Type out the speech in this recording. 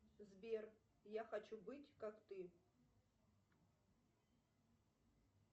сбер я хочу быть как ты